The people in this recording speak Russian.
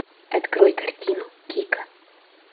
открой картину кика